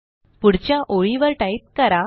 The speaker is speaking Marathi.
पुढच्या ओळीवर टाईप करा